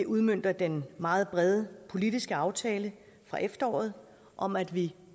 udmønter den meget brede politiske aftale fra efteråret om at vi